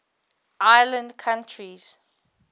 island countries